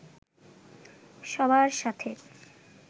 সবার সাথে